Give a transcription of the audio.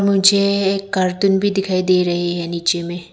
मुझे एक कार्टन भी दिखाई दे रही है नीचे में।